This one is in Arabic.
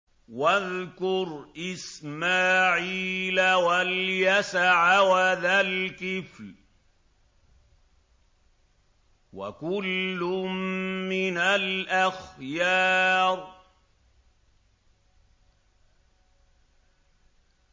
وَاذْكُرْ إِسْمَاعِيلَ وَالْيَسَعَ وَذَا الْكِفْلِ ۖ وَكُلٌّ مِّنَ الْأَخْيَارِ